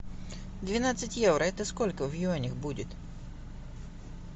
двенадцать евро это сколько в юанях будет